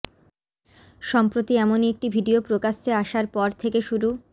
সম্প্রতি এমনই একটি ভিডিয়ো প্রকাশ্যে আসার পর থেকে শুরু